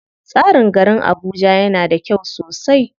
Tsarin garin Abuja yana da kyau sosai.